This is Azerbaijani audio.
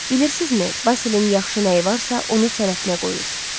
Bilirsiz nə, Basilin yaxşı nəyi varsa, onu sənətinə qoyur.